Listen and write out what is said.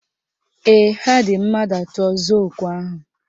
Ee, ha dị mmadụ atọ zụọ okwe ahụ